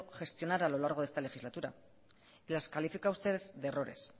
gestionar a lo largo de esta legislatura y las califica usted de errores